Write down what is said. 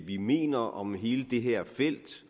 vi mener om hele det her felt